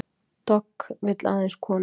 Dogg vill aðeins konur